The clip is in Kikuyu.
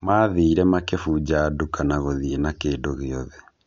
Mathire makĩbunja duka na gũthiĩ na kĩndũ gĩothe.